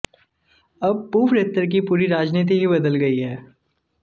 अब पूवरेत्तर की पूरी राजनीति ही बदल गई है